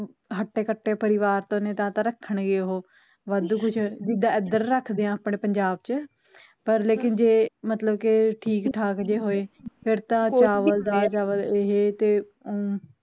ਹੱਟੇ ਕੱਟੇ ਪਰਿਵਾਰ ਤੋਂ ਨੇ ਤਾ ਤਾਂ ਰੱਖਣਗੇ ਓਹ ਵਾਧੂ ਕੁਛ, ਜਿਦਾ ਐਦਰ ਰੱਖਦੇ ਆ ਆਪਣੇ ਪੰਜਾਬ ਚ, ਪਰ ਲੇਕਿਨ ਜੇ ਮਤਲਬ ਕਿ ਠੀਕ ਠਾਕ ਜੇ ਹੋਏ ਫੇਰ ਤਾ ਚਾਵਲ ਦਾਲ ਦਾਲ ਚਾਵਲ ਏਹ ਤੇ ਅਮ